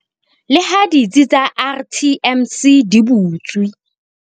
Leha ditsi tsa RTMC di butswe